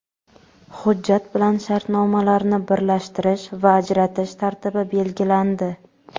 Hujjat bilan shartnomalarni birlashtirish va ajratish tartibi belgilandi.